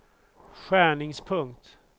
skärningspunkt